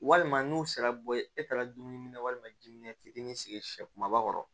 Walima n'u sera bɔ ye e taara dumuni na walima jima fitinin sigi sɛba kɔrɔ